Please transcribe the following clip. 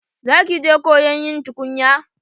Za ki je koyon yin tukunya?